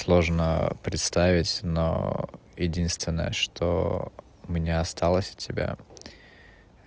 сложно представить но единственное что у меня осталось от тебя